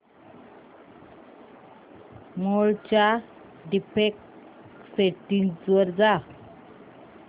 मोड च्या default settings वर जा